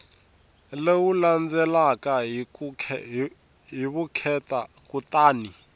lowu landzelaka hi vukheta kutani